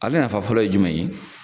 Ale nafa fɔlɔ ye jumɛn ye?